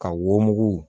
Ka wo mugu